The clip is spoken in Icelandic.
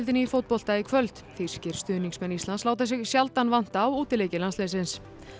í fótbolta í kvöld þýskir stuðningsmenn Íslands láta sig sjaldan vanta á útileiki landsliðsins